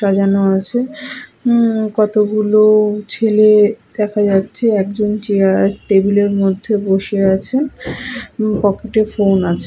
সাজানো আছে উমম কতগুলো ছেলে দেখা যাচ্ছে একজন চেয়ার টেবিল -এ বসে আছে পকেট -এ ফোন আছে।